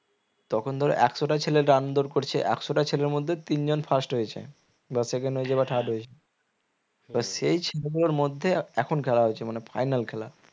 তখন ধরো একশোটা ছেলে run দৌড় করছে একশটা ছেলের মধ্যে তিনজন first হয়েছে বা second হয়েছে বা third হয়েছে তো সেই ছেলেদের মধ্যে এখন খেলা হচ্ছে মানে final খেলা